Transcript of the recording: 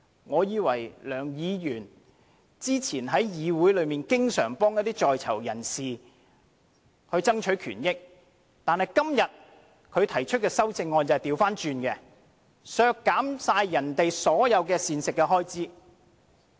我以為梁議員早前在議會中經常幫一些在囚人士爭取權益，但今天他提出的修正案卻是相反，要削減人家所有的膳食開支。